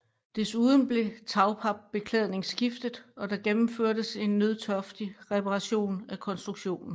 Desuden blev tagpapbeklædning skiftet og der gennemførtes en nødtørftig reparation af konstruktionen